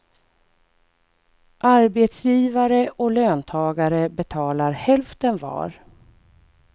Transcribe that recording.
Arbetsgivare och löntagare betalar hälften var.